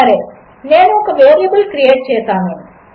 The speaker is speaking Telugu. సరే నేనుఒకవేరియబుల్క్రియేట్చేసాను